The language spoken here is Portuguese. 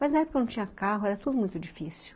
Mas na época não tinha carro, era tudo muito difícil.